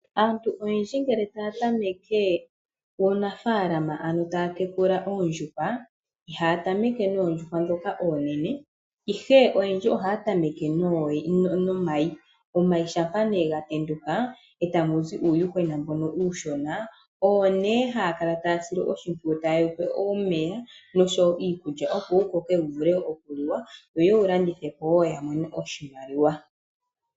Aantu oyendji ngele taya tameke uunafaalama ano taya tekula oondjuhwa, ihaya tameke noondjuhwa ndhoka oonene, ihe oyendji ohaya tameke nomayi, omayi shampa nee ga tenduka etamu zi uuyuhwena mbono uushona owo haya kala taya sile oshimpwiyu taye wupe omeya nosho wo iikulya, opo wu Koke wu vule okuliwa yo yewu landithe po wo ya mone oshimaliwa